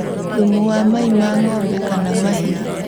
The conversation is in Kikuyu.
Thumu wa mai ma ng'ombe kana mahiũ